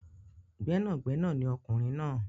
Gbẹ́nàgbẹnà ni ọkùnrin náà.